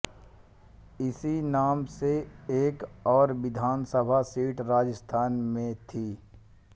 इसी नाम से एक और विधानसभा सीट राजस्थान में थी